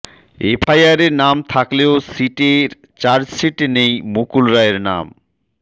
এফআইআরে নাম থাকলেও সিটের চার্জশিটে নেই মুকুল রায়ের নাম